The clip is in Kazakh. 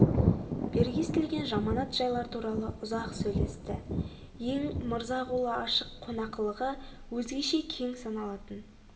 бергі естілген жаманат жайлар туралы ұзақ сөйлесті ең мырза қолы ашық қонақылығы өзгеше кең саналатын